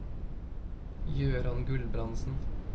Gøran Gulbrandsen